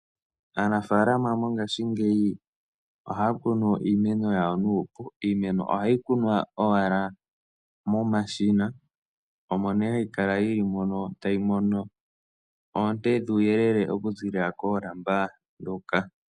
Aanafaalama mongashingeyi ohaya kunu iimeno yawo nuupu. Iimeno ohayi kunwa owala momashina, omo nee hayi kala yi li mono tayi mono oonte dhuuyelele okuziilila koolamba ndhoka.